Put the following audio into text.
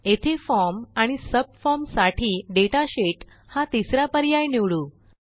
येथे फॉर्म आणि सबफॉर्म साठी दाता शीत हा तिसरा पर्याय निवडू